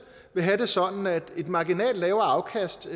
vil have det sådan at et marginalt lavere afkast